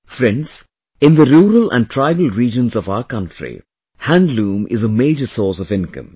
Friends, in the rural and tribal regions of our country, handloom is a major source of income